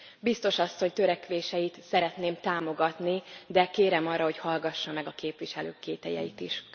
Biztos Asszony törekvéseit szeretném támogatni, de kérem arra, hogy hallgassa meg a képviselők kételyeit is.